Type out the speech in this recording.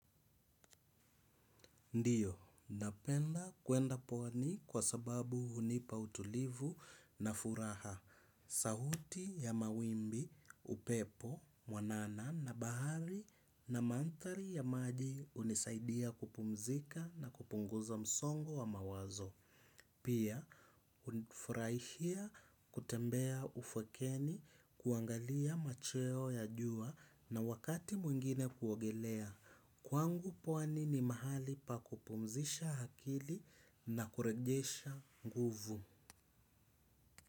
Ndiyo, napenda kwenda pwani kwa sababu hunipa utulivu na furaha, sauti ya mawimbi, upepo mwanana na bahari na mandhari ya maji hunisaidia kupumzika na kupunguza msongo wa mawazo. Pia, hufurahia kutembea ufukweni kuangalia macheo ya jua na wakati mwingine kuogelea. Kwangu pwani ni mahali pa kupumzisha akili na kurejesha nguvu.